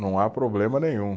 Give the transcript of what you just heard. Não há problema nenhum.